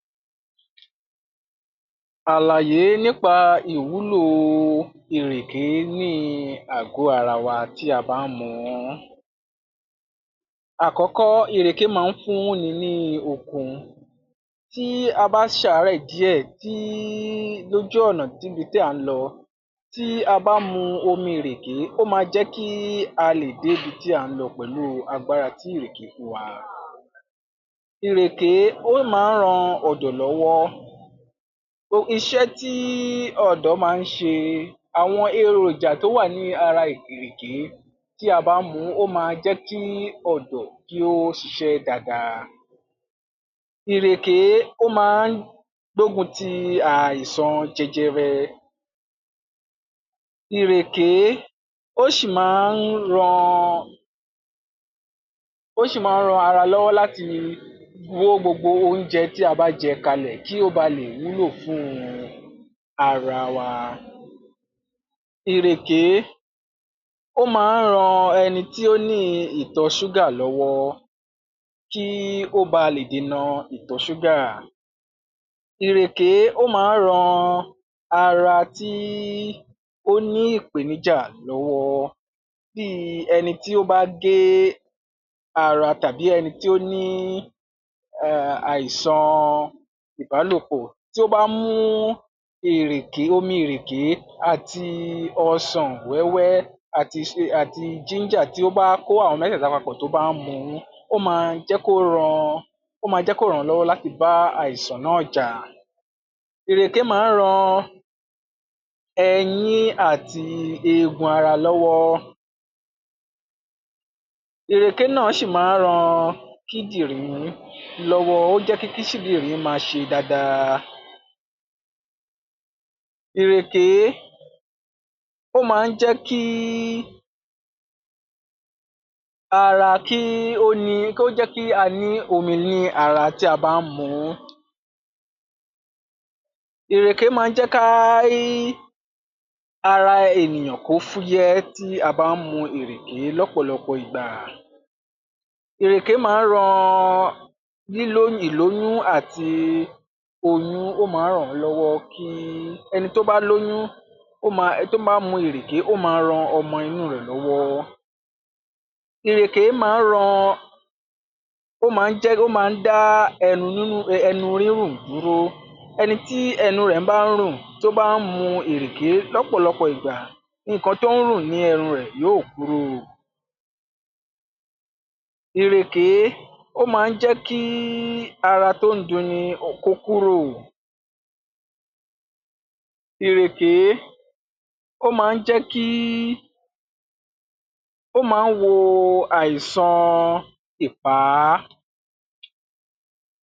Àlàyé nípa ìwúlòo ìrèké níi àgọ́ ara wa tí a bá ń mu ún. Àkọ́kọ́, ìrèké máa ń fúnni ní okun. Tí a bá ṣàárẹ̀ díẹ̀ tííí lójú ọ̀nà tíbi tí à ń lọ, tí a bá mu omiìrèké, ó máa jẹ́ kí a lè débi tí à ń lọ pẹ̀lú agbára tí ìrèké fún wa. Ìrèké ó máa ń ran ọdọ̀ lọ́wọ́. Iṣẹ́ tííí ọ̀dọ́ máa ń ṣe, àwọn eròjà tó wà ní ara ìrèké tí a bá mu ún ó máa jẹ́ kí ọ̀dọ̀ kí ó siṣẹ́ daadaa. Ìrèké ó máa ń gbógun ti àìsàn jẹjẹrẹ. Ìrèké ó ṣì máa ń ran, ó ṣì máa ń ran ara lọ́wọ́ láti wó gbogbo oúnjẹ tí a bá jẹ kalẹ̀ kí ó ba lè wúlò fún un ara wa. Ìrèké ó máa ń ran ẹni tí ó níin ìtọ̀-ṣúgà lọ́wọ́ kí ó ba lè dènà ìtọ̀-ṣúgà. Ìrèké ó máa ń ran ara tí ó ní ìpèníjà lọ́wọ́, bíi ẹni tí ó bá gé ara tàbí eni tí ó ní um àìsànan ìbálòpọ̀, tí ó bá mú ìrèké, omiìrèké àti ọsàn wẹ́wẹ́ àti ginger tí ó bá kó àwọn mẹ́tẹ̀ẹ̀ta papọ̀ tó bá mu wọ́n, ó máa jẹ́ kó ran, ó máa jẹ́ kó ràn án lọ́wọ́ láti bá àìsàn náà jà. Ìrèké máa ń ran ẹyín àti eegun ara lọ́wọ́. Ìrèké náà ṣì máa ń ran kídìnrín lọ́wọ́. Ó ń kí máa ṣe daadaa. Ìrèké ó máa ń jẹ́ kí ara kí ó ní, ó jẹ́ kí a ní omi ní ara tí a bá ń mu ún. Ìrèké máa ń jẹ́ ká ara ènìyàn kó fúyẹ́ tí a bá ń mu ìrèké lọ́pọ̀lọpọ̀ ìgbà. Ìrèké máa ń ran lílóyún, ìlóyún àti oyún ó máa ń ràn án lọ́wọ́ kí ẹni tó bá lóyún, ó máa, tó bá mu ìrèké, ó máa ran ọmọ inú rẹ̀ lọ́wọ́. Ìrèké máa ń ran, ó máa ń jẹ́, ó máa ń dá ẹnu rírùn dúró. Ẹni tí ẹnu rẹ̀ bá ń rùn tó bá ń mu ìrèké lọ́pọ̀lọpọ̀ ìgbà, nǹkan tó ń rùn ní ẹrun rẹ̀ yóò kúrò. Ìrèké ó máa ń jẹ́ kí ara tó ń dunni kó kúrò. Ìrèké ó máa ń jẹ́ kí, ó máa ń wọ àìsànan ìpá.